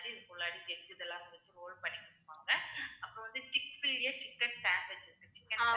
இதெல்லாம் குடுத்து roll பண்ணி குடுப்பாங்க. அப்புறம் வந்து thick fillian chicken sandwich இருக்கு chicken sandwich